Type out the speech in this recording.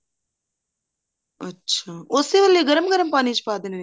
ਅੱਛਾ ਓਸੇ ਵੇਲੇ ਗਰਮ ਗਰਮ ਪਾਣੀ ਚ ਪਾ ਦੇਣੇ ਨੇ